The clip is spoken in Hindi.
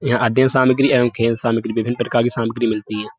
यहाँ अध्यन सामग्री एवं खेल सामग्री विभिन्न प्रकार की सामग्री मिलती है।